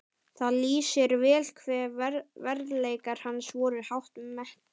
Það lýsir vel hve verðleikar hans voru hátt metnir.